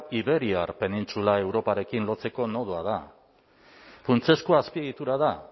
y iberiar penintsula europarekin lotzeko nodoa da funtsezko azpiegitura da